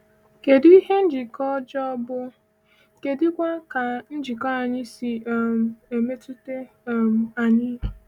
Kedụ ihe njikọ ọjọọ bụ, kedụkwa ka njikọ anyị si um emetụta um anyị?